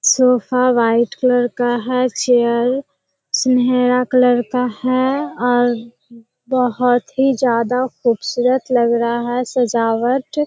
Sofa white colour का है chair सुनहरा कलर का है और बहुत ही ज्यादा खूबसूरत लग रहा है सजावट।